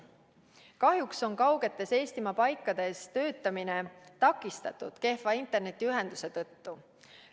Kahjuks on kaugetes Eestimaa paikades töötamine takistatud kehva internetiühenduse tõttu.